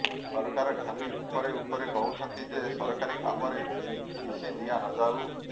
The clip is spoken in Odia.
ସରକାର ଖାଲି ଉପରେ ଉପରେ କହୁଛନ୍ତି ଯେ ସରକାରୀ କାମରେ ପିସି ଦିଆନଯାଉ